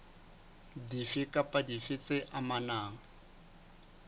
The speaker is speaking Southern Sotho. dife kapa dife tse amanang